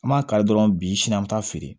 An b'a kari dɔrɔn bi sini an mi taa feere